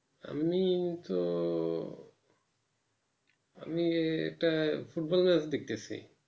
আমি তো আমি একটা ফুটবল match দেখতেছি